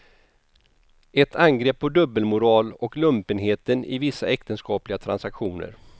Ett angrepp på dubbelmoral och lumpenheten i vissa äktenskapliga transaktioner.